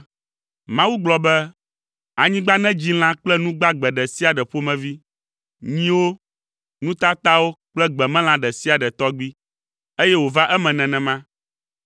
Mawu gblɔ be, “Anyigba nedzi lã kple nu gbagbe ɖe sia ɖe ƒomevi: nyiwo, nu tatawo kple gbemelã ɖe sia ɖe tɔgbi.” Eye wòva eme nenema.